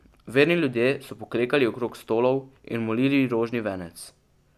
Verni ljudje so poklekali okrog stolov in molili rožni venec.